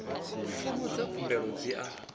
fomo dza khumbelo dzi a